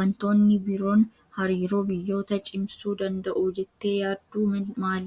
Wantoonni biroon hariiroo biyyootaa cimsuu danda'u jettee yaaddu maali?